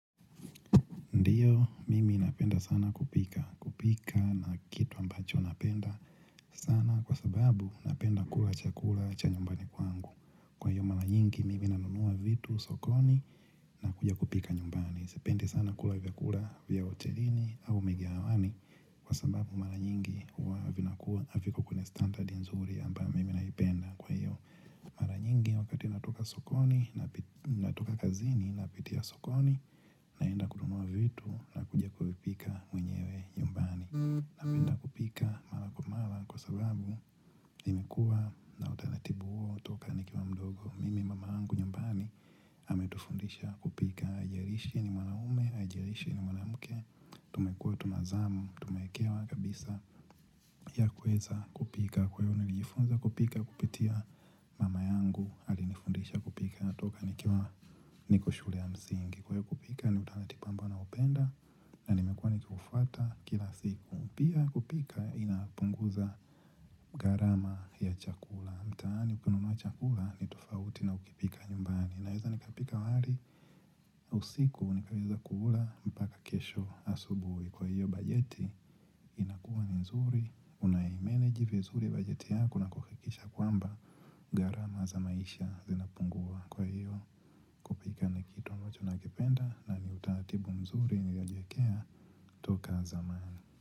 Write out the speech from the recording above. Ndiyo, mimi napenda sana kupika. Kupika na kitu ambacho napenda sana kwa sababu napenda kula cha kula cha nyumbani kwangu. Kwa hiyo mara nyingi, mimi nanunua vitu sokoni nakuja kupika nyumbani. Sipendi sana kula vya kula vya hotelini au mikahawani kwa sababu mara nyingi huwa vinakua haviko kwenye standardi nzuri ambayo mimi naipenda kwa hiyo. Mara nyingi wakati natoka sokoni, natoka kazini, napitia sokoni, naenda kununua vitu na kuja kuvipika mwenyewe nyumbani. Napenda kupika mara kwa mara kwa sababu nimekua na utaratibu huo toka nikiwa mdogo. Mimi mama yangu nyumbani ametufundisha kupika. Haijalishi ni mwanaume, haijalishi ni mwanamke. Tumekua tunazamu, tumeekewa kabisa ya kuweza kupika. Kwa hiyo nilijifunza kupika kupitia mama yangu alinifundisha kupika toka nikiwa niko shule ya msingi Kwa hiyo kupika ni utaratibu ambao naupenda na nimekuwa nikiufuata kila siku Pia kupika inapunguza gharama ya chakula. Mtaani ukinunua chakula ni tufauti na ukipika nyumbani Naeza nikapika wali usiku nikaweza kuula mpaka kesho asubui Kwa hiyo bajeti inakua ni nzuri unaimeneji vizuri bajeti yako kuhakisha kwamba gharama za maisha zinapungua kwa hiyo pika ni kitu ambacho nakependa na ni utaatibu mzuri niliojiekea toka zamani.